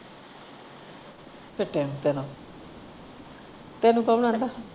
ਫਿੱਟੇ ਮੂੰਹ ਤੇਰਾ ਤੈਨੂੰ ਕੌਣ ਆਂਦਾ।